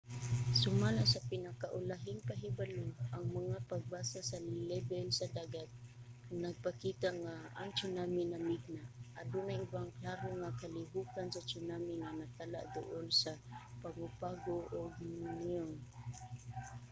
sumala sa pinaka-ulahing pahibalo ang mga pagbasa sa lebel sa dagat nagpakita nga ang tsunami namigna. adunay ubang klaro nga kalihokan sa tsunami nga natala duol sa pago pago ug niue